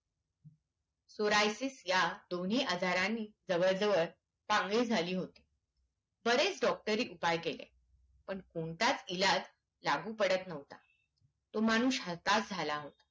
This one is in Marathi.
सोरायसिस ह्या दोन्ही आजारणी जवळ जवळ पांगलीच झाली होती बरेच डोक्टोरी उपाय केले पण कोणताच इलाज लागू पडत नव्हता तो माणूस हताश झाला होता